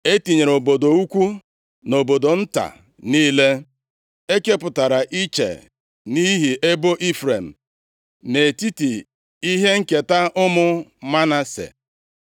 E tinyere obodo ukwu na obodo nta niile ekepụtara iche nʼihi ebo Ifrem nʼetiti ihe nketa ụmụ Manase.